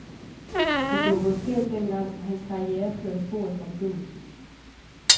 Hvis det var gået skævt den gang, var hans karriere kørt af sporet fra begyndelsen.